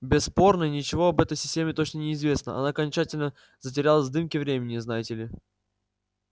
бесспорно ничего об этой системе точно не известно она окончательно затерялась в дымке времени знаете ли